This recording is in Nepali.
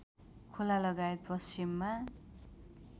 खोला लगायत पश्चिममा